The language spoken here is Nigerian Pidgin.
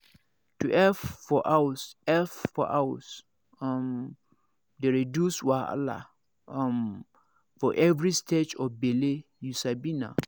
to help for house help for house um dey reduce wahala um for every stage of bele you sabi na